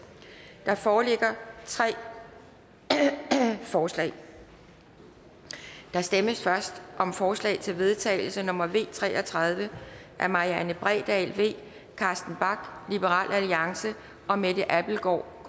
der foreligger tre forslag der stemmes først om forslag til vedtagelse nummer v tre og tredive af marianne bredal carsten bach og mette abildgaard